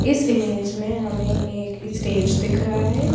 इस इमेज में हमें एक स्टेज दिख रहा है।